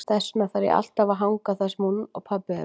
Þess vegna þarf ég alltaf að hanga þar sem hún og pabbi eru.